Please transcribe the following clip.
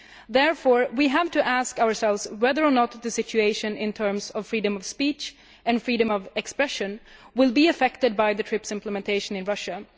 Therefore we have to ask ourselves whether or not the situation in terms of freedom of speech and freedom of expression will be affected by the implementation of TRIPS in Russia.